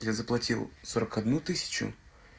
я заплатил сорок одну тысячу